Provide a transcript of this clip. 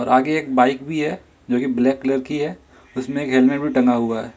आगे एक बाइक भी है जो कि ब्लैक कलर की है उसमे एक हेलमेट भी टंगा हुआ है।